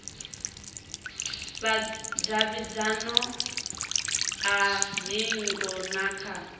vhudavhidzano ha hingo na kha